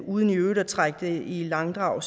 uden i øvrigt at trække det i langdrag